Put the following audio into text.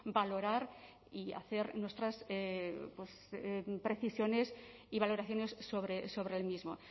valorar y hacer nuestras precisiones y valoraciones sobre el mismo